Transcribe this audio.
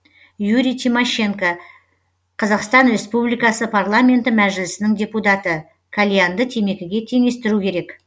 юрий тимощенко қазақстан республикасы парламенті мәжілісінің депутаты кальянды темекіге теңестіру керек